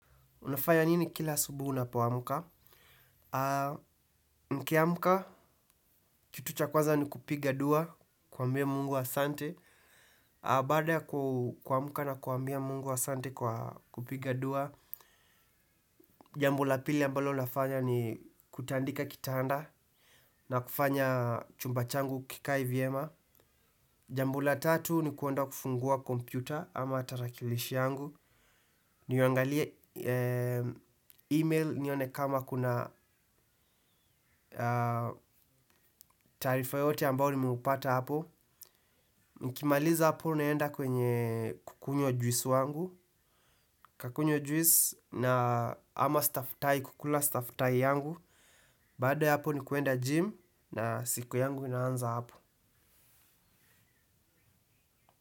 Unafaya nini kila asubuhi unapo amka? Nikiamka kitu cha kwanza ni kupiga dua, kuambia mungu ahsante. Baada ya kuamka na kuambia mungu ahsante kwa kupiga dua, jambo la pili ambalo nafanya ni kutandika kitanda na kufanya chumba changu kikae vyema. Jambo la tatu ni kuenda kufungua kompyuta ama tarakilishi yangu. Niangalie email nione kama kuna tarifa yoyote ambao nimeupata hapo. Mkimaliza hapo naenda kwenye kukunywa juisu wangu. Kakunywa juisu na ama stafutai kukula stafutai yangu. Baado ya hapo ni kuenda gym na siku yangu inaanza hapo.